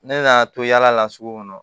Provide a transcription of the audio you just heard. Ne nana to yaala la sugu kɔnɔ